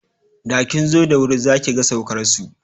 Da kin zo da wuri za ki ga saukarsu.